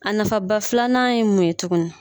A nafaba filanan ye mun ye tugunni?